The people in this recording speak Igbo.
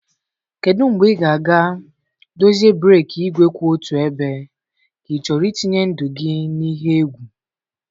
Kedu mgbe ị ga-aga dozie breeki igwe kwụ otu ebe, ka ị chọrọ itinye ndụ gị n'ihe egwu?